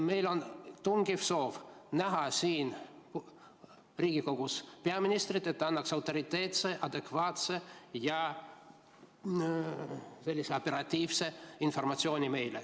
Meil on tungiv soov näha siin Riigikogus peaministrit, et ta annaks meile autoriteetse, adekvaatse ja operatiivse informatsiooni.